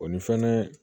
O ni fɛnɛ